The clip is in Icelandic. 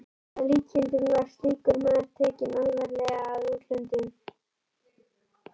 Að líkindum var slíkur maður tekinn alvarlega í útlöndum.